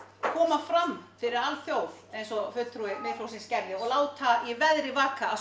koma fram fyrir alþjóð eins og fulltrúi Miðflokksins gerði og láta í veðri vaka að